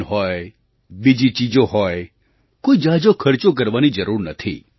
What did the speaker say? જાન હોય બીજી ચીજો હોય કોઈ ઝાઝો ખર્ચો કરવાની જરૂર નથી